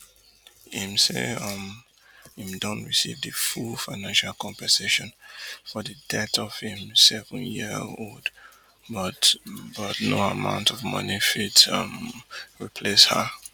im say um im don receive di full financial compensation for di death of im sevenyearold but but no amount of money fit um replace her